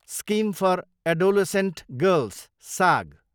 scheme for adolescent girls, साग